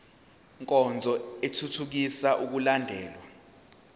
nkonzo ithuthukisa ukulandelwa